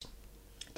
DR1